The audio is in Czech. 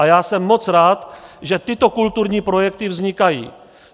A já jsem moc rád, že tyto kulturní projekty vznikají.